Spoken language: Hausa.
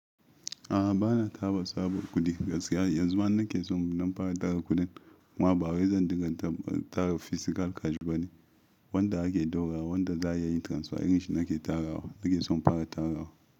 A'a, ba na taba saba kudi gaskiya. Yanzu ma na ke so na fara tara kuɗin, ama ba wai zan dinga tara fisikal kaji bane. Wanda ake daura, wanda za a yi transfer irin shi na ke tarawa. Na ke so fara tarawa.